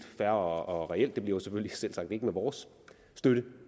fair og reelt men det bliver selvfølgelig selvsagt ikke med vores støtte